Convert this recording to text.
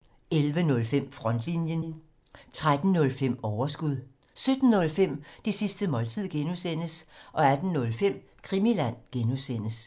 DR1